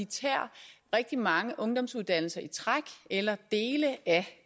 tager rigtig mange ungdomsuddannelser i træk eller dele af